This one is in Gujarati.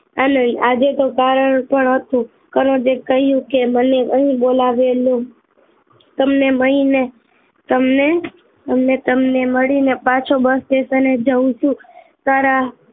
આનંદ આજે તો કારણ પણ હતું કનોજ એ કહ્યું કે મને અહી બોલાવેલો તમને મળી ને તમને અને મળી ને પાછો bus station જાઉં છું તારા